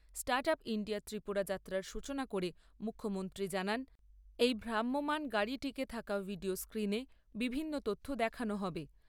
Start up India Tripura যাত্রার সূচনা করে মুখ্যমন্ত্রী জানান, এই ভ্রাম্যমান গাড়িটিতে থাকা ভিডিও স্ক্রিনে বিভিন্ন তথ্য দেখানো হবে।